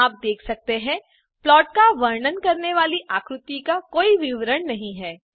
जैसा कि आप देख सकते हैं प्लॉट का वर्णन करने वाली आकृति का कोई विवरण नहीं हैं